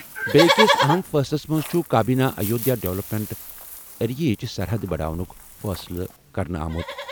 بیٛکہِ أکِس اَہَم فٲصلَس منٛز چھُ کابینہِ ایودھیا ڈیولپمنٹ ایریا ہٕچ سرحد بڑاونُک فٲصلہٕ کرنہٕ آمُت۔